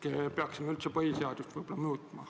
Võib-olla peaksime üldse põhiseadust muutma?